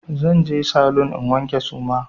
Zan je saloon in wanke suma.